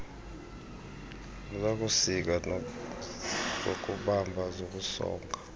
zokusika zokubumba zokusonga